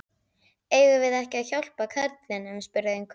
Eigum við ekki að hjálpa karlinum? spurði einhver.